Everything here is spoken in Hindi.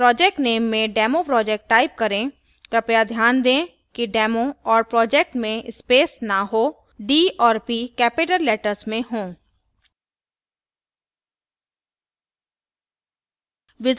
project नेम में demoproject type करें कृपया ध्यान दें कि demo और project में space न हो d और p capital letters में हों